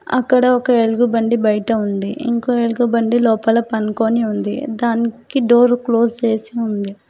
అక్కడ ఒక ఎలుగు బంటి బయట ఉంది ఇంకో ఎలుగు బంటి లోపల పనుకొని ఉంది దానికి డోర్ క్లోజ్ చేసి ఉంది.